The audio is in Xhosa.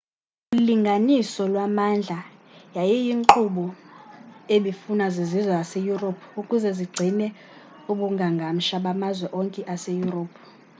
ulinganiso lwamandla yayiyinkqubo ebifunwa zizizwe zase-europe ukuze zigcine ubungangamsha bamazwe onke ase-europe